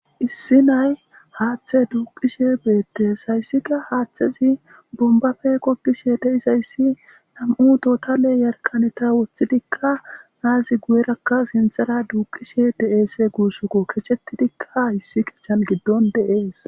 issi nay haaththe duuqishe beettees hayssika haaththezi bombafe kokkishe deisayssi nam7u totale yarqaneta woththidikka naazi guyerakka sinthara duuqishe de7eese guussoko kechetidikka hayssi kechan giddon deees